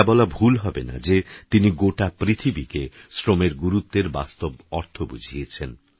এটাবলাভুলহবেনাযেতিনিগোটাপৃথিবীকেশ্রমেরগুরুত্বেরবাস্তবঅর্থবুঝিয়েছেন